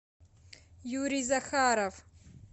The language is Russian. юрий захаров